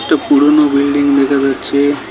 একটা পুরনো বিল্ডিং দেকা যাচ্চে।